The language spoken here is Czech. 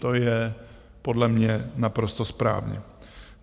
To je podle mě naprosto správně.